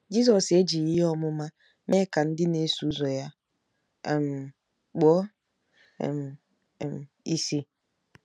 Jizọs ejighị ihe ọmụma mee ka ndị na-eso ụzọ ya um kpuo um um ìsì.